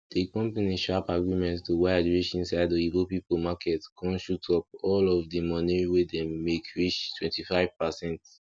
di company sharp agreement to wide reach inside oyibo people market con shoot up all of di moni wey dem make reach twenty five pacent